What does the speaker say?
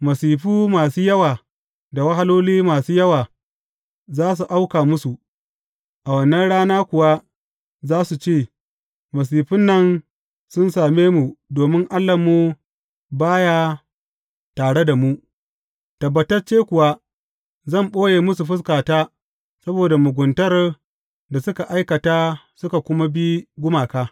Masifu masu yawa da wahaloli masu yawa za su auka musu, a wannan rana kuwa za su ce, Masifun nan sun same mu domin Allahnmu ba ya tare da mu’ Tabbatacce kuwa, zan ɓoye musu fuskata saboda muguntar da suka aikata, suka kuma bi gumaka.